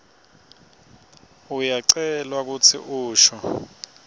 uyacelwa kutsi usho